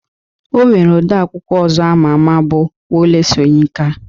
O nwere odee akwụkwọ ọzọ ama ama bụ Wole Soyinka